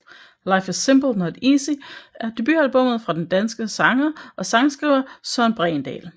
Life Is Simple Not Easy er debutalbummet fra den danske sanger og sangskriver Søren Bregendal